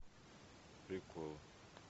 приколы